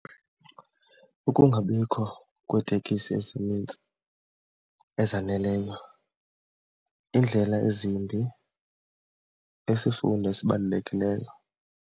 Ukungabikho kweetekisi ezinintsi ezaneleyo, iindlela ezimbi, isifundo esibalulekileyo.